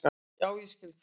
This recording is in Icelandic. Já ég skil það.